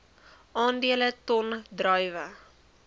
aandele ton druiwe